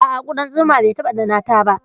A'a, kuɗan zuma bai taɓa ɗannata ba.